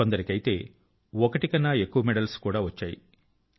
కొందరికైతే ఒకటి కన్నా ఎక్కువ మెడల్స్ కూడా వచ్చాయి